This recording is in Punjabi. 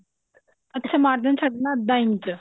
ਅੱਕ margin ਛੱਡਣਾ ਅੱਧਾ ਇੰਚ